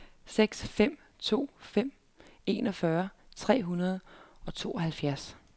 seks fem to fem enogfyrre tre hundrede og tooghalvfjerds